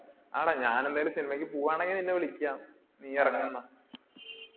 ആടാ. ഞാൻ എന്തായാലും cinema ക്ക് പോവാണെങ്കിൽ നിന്നെ വിളിക്കാം. നീ ഇറങ്ങ് എന്നാ.